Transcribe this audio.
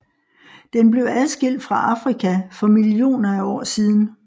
Den blev adskilt fra Afrika for millioner af år siden